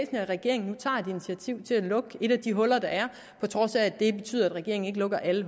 at regeringen nu tager et initiativ til at lukke et af de huller der er på trods af at det betyder at regeringen ikke lukker alle